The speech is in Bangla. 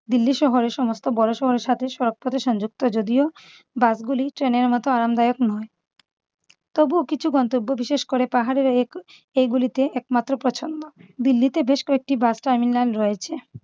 দিল্লি শহর এ সমস্ত বড় শহরের সাথে shortcut এ সংযুক্ত যদিও বাস গুলি ট্রেনের মত আরামদায়ক নয়। তবুও কিছু গন্তব্য বিশেষ করে পাহাড়ের এ~ এগুলিতে একমাত্র পছন্দ। দিল্লিতে বেশ কয়েকটি bus terminal রয়েছে।